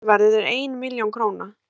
söluverðið er einn milljón króna